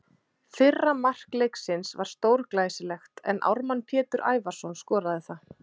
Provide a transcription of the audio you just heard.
Fyrra mark leiksins var stórglæsilegt en Ármann Pétur Ævarsson skoraði það.